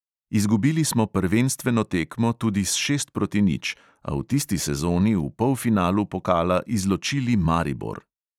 Izgubili smo prvenstveno tekmo tudi s šest proti nič, a v tisti sezoni v polfinalu pokala izločili maribor.